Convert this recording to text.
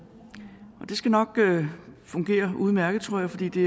det skal nok fungere udmærket tror jeg fordi det